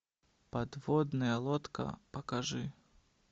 подводная лодка покажи